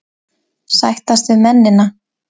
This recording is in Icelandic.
Sættast við mennina.